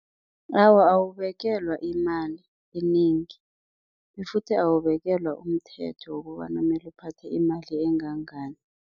Awa, uwubekelwa imali enengi, futhi awubekelwa umthetho wokobana mele uphathe imali engangani.